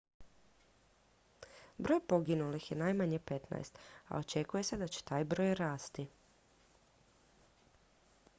broj poginulih je najmanje 15 a očekuje se da će taj broj rasti